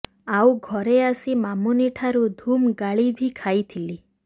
ଆଉ ଘରେ ଆସି ମାମୁନିଠାରୁ ଧୁମ୍ ଗାଳି ବି ଖାଇଥିଲି